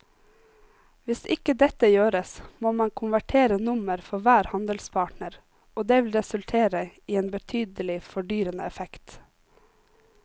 Hvis ikke dette gjøres må man konvertere nummer for hver handelspartner og det vil resultere i en betydelig fordyrende effekt.